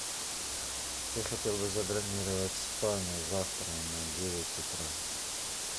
я хотел бы забронировать спа на завтра на девять утра